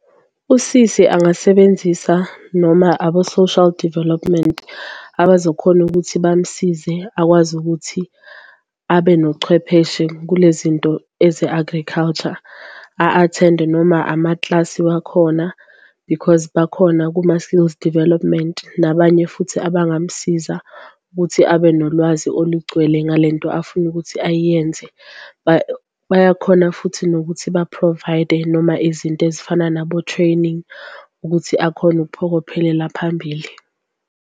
Usisi angasebenzisa noma abo-Social Development abazokhona ukuthi bamsize akwazi ukuthi abe nochwepheshe kule zinto eze-agriculture, a-athende noma amaklasi wakhona because bakhona kuma-skills development nabanye futhi abangamsiza ukuthi abe nolwazi olugcwele ngale nto afuna ukuthi ayenze. Bayakhona futhi nokuthi ba-provide noma izinto ezifana nabo-training ukuthi akhone ukuphokophelela phambili.